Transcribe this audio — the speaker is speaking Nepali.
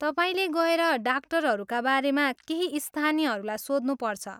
तपाईँले गएर डाक्टरहरूका बारेमा केही स्थानीयहरूलाई सोध्नुपर्छ।